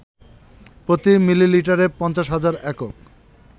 প্রতি মিলিলিটারে ৫০,০০০ একক